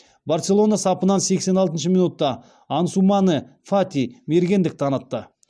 барселона сапынан сексен алтыншы минутта ансумане фати мергендік танытты